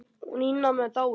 Hún Ína amma er dáin.